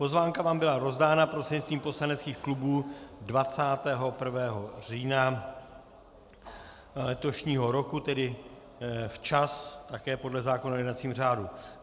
Pozvánka vám byla rozdána prostřednictvím poslaneckých klubů 21. října letošního roku, tedy včas také podle zákona o jednacím řádu.